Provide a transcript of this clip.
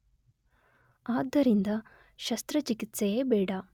ಆದ್ದರಿಂದ ಶಸ್ತ್ರಚಿಕಿತ್ಸೆಯೇ ಬೇಡ.